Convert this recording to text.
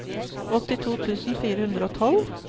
åttito tusen fire hundre og tolv